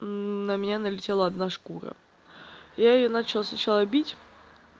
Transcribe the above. на меня налетела одна шкура я её начала сначала бить